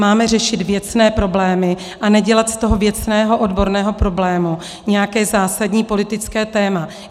Máme řešit věcné problémy a nedělat z toho věcného, odborného problému nějaké zásadní politické téma.